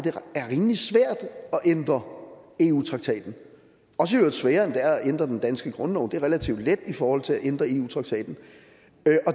ændre eu traktaten også i øvrigt sværere end det er at ændre den danske grundlov for det er relativt let i forhold til at ændre eu traktaten